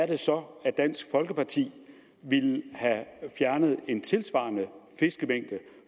det så dansk folkeparti ville have fjernet en tilsvarende fiskemængde